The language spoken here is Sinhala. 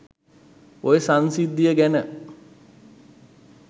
ඔය සංසිද්ධිය ගැන